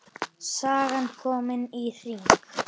Sagan komin í hring.